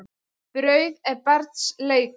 Brauð er barns leikur.